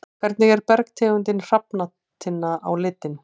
Hvernig er bergtegundin hrafntinna á litinn?